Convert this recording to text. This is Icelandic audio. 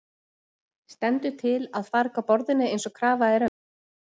Stendur til að farga borðinu eins og krafa er um?